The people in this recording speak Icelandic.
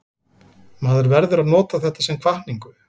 Maður verður að nota þetta sem hvatningu.